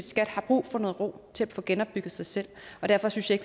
skat har brug for noget ro til at få genopbygget sig selv og derfor synes jeg